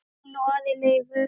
Elín og Ari Leifur.